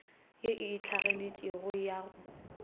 ye e itlhaganetšeng ya go